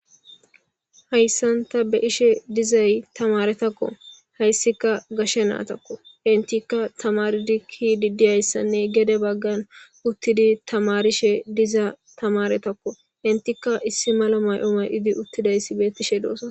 hayssan ta be'ishe dizayi tamarettakko hayssikka gashshe nayittakko enttikka tamaridi kidi dizayissanne gede bagan uttidi tamarishe diza tamaretakko entika issi Mala May'o may'di uttidaysi bettishe doossona.